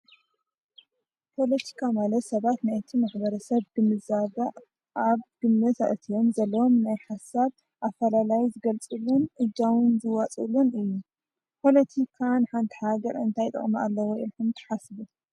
ፖለቲካ ማለት ሰባት ናይቲ ማሕበረሰብ ግንዛበ ኣብ ግምት አእቲዮም ዘለዎም ናይ ሓሳብ ኣፈላላዩ ዝገልፅሉን እጃሙን ዝዋፅእሉን እዩ ። ፖለቲካ ንሓንቲ ሃገር እንታይ ጥቅሚ ኣለዎ ኢልኩም ትሓስቡ ?